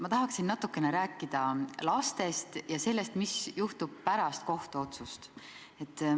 Ma tahaksin natukene rääkida lastest ja sellest, mis juhtub pärast kohtuotsust.